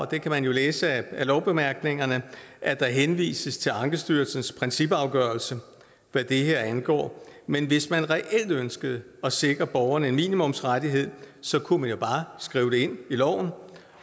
det kan man jo læse af lovbemærkningerne at der henvises til ankestyrelsens principafgørelse hvad det her angår men hvis man reelt ønskede at sikre borgerne en minimumsrettighed kunne man bare skrive det ind i loven